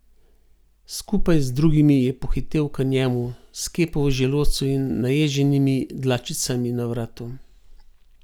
Skupaj z drugimi je pohitel k njemu, s kepo v želodcu in naježenimi dlačicami na vratu.